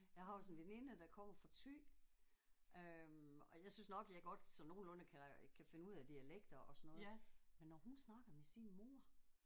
Jeg har også en veninde der kommer fra Ty øh og jeg synes nok jeg godt sådan nogenlunde kan kan finde ud af dialekter og sådan noget men når hun snakker med sin mor